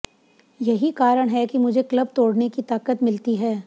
यही कारण है कि मुझे क्लब तोड़ने की ताकत मिलती है